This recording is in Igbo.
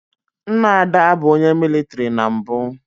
Nna Ada bụ onye mịlịtrị na mbụ